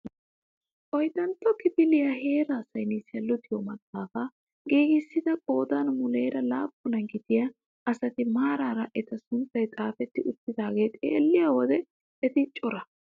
Oyddantto kifiliyaa heeraa saynissiyaa luxiyoo maxaafaa giigissida qoodan muleera laappunaa gidiyaa asati maarara eta sunttay xaafetti uttidagaa xeelliyoo wode eti cora!